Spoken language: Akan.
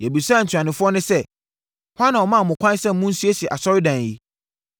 Yɛbisaa ntuanofoɔ no sɛ, “Hwan na ɔmaa mo kwan sɛ monsiesie asɔredan yi?”